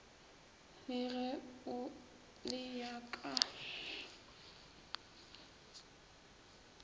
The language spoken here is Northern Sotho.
le ge o le ka